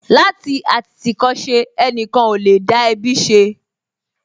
Láti àtìtìkọ́ṣe, ẹnìkan ò lè dá ẹbí ṣe